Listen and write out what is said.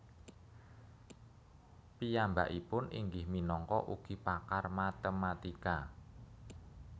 Piyambakipun inggih minangka ugi pakar matematika